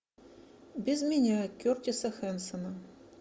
без меня кертиса хэнсона